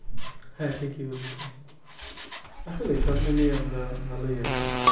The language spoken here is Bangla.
হ্যাঁ ঠিকই বলছেন আসলেই সব মিলিয়ে আমরা ভালোই আছি।